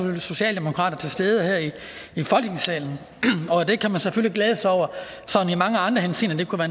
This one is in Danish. var socialdemokrater til stede her i folketingssalen og det kan man selvfølgelig glæde sig over i mange andre henseender det kunne